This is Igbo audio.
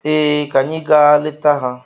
Ee, ka anyị gaa leta ha.